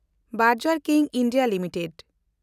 ᱵᱮᱱᱰᱜᱮᱱᱰ ᱠᱤᱝ India limited